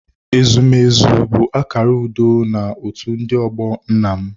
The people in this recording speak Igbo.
Ezumezu bụ akara udo na otu ndị ọgbọ nna m.